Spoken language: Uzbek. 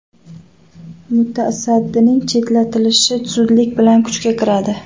Mutasaddining chetlatilishi zudlik bilan kuchga kiradi.